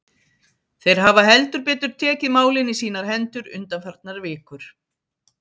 Þeir hafa heldur betur tekið málin í sínar hendur undanfarnar vikur.